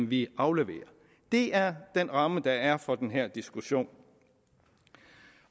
vi afleverer det er den ramme der er for den her diskussion